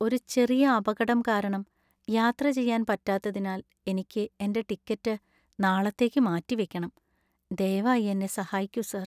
ഒരു ചെറിയ അപകടം കാരണം യാത്ര ചെയ്യാൻ പറ്റാത്തതിനാൽ എനിക്ക് എന്‍റെ ടിക്കറ്റ് നാളത്തേക്ക് മാറ്റിവയ്ക്കണം. ദയവായി എന്നെ സഹായിക്കൂ സർ.